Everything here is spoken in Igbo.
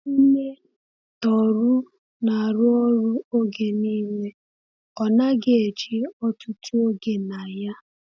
Nne Tohru na-arụ ọrụ oge niile, ọ naghị eji ọtụtụ oge na ya.